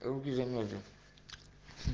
руки замёрзли